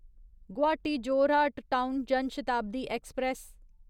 Guwahati Jorhat town Jan Shatabdi express